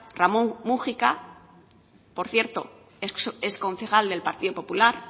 ramón múgica por cierto exconcejal del partido popular